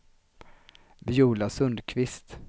Viola Sundkvist